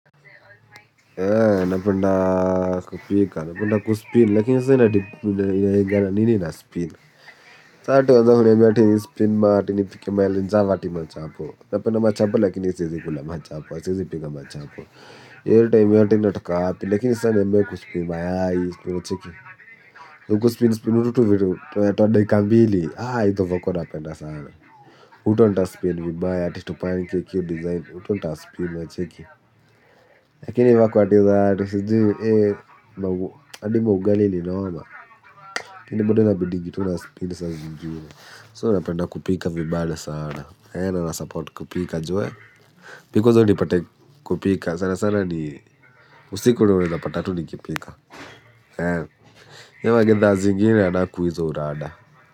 Napenda kupika napenda kuspin lakini sasa inalingana ni nini naspin sa ata huwezi niambia eti nispin ati mahali hapa ati machapo napenda machapo lakini siwezi kula lakini siwezi pika machapo kwa kwa kwa kwa kwa kwa kwa kwa kwa kwa kwa kwa lakini sa niambie kuspin mayai unacheki kuspin spin hutu tuvitu twa dakika mbili hizo vako napenda sana huto ndaspin vibaya hadi tupancake hio design huto ndaspin unacheki lakini vako za ati sijui adi maugali ni noma hio bado inabidingi tuu naspin saa zingine So napenda kupika vibale sana. Eeh na nasupport kupika juu eeh mi kwanza unipate kupika sana sana ni usiku ndio unaeza pata tu nikipika. Eeh. Hio magethaa zingine anaku hizo urada.